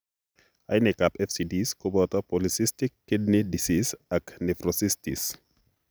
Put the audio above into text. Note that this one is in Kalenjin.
Ainekab FCDs koboto polycystic kidney disease ak nephronophthisis .